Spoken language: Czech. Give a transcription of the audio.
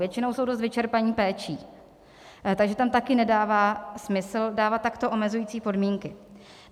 Většinou jsou dost vyčerpaní péčí, takže tam taky nedává smysl dávat takto omezující podmínky.